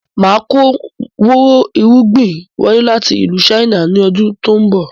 Máa kọ àwọn wò rò irúgbìn wọlé láti ìlú "China" ni ọdún tòun bọ̀